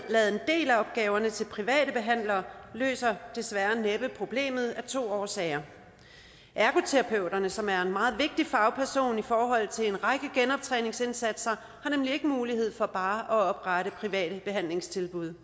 del af opgaverne til private behandlere løser desværre næppe problemet af to årsager ergoterapeuterne som er meget vigtige fagpersoner i forhold til en række genoptræningsindsatser har nemlig ikke mulighed for bare at oprette private behandlingstilbud